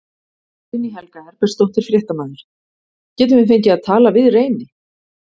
Guðný Helga Herbertsdóttir, fréttamaður: Getum við fengið að tala við Reyni?